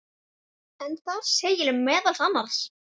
en þar segir meðal annars